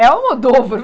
É Almodóvar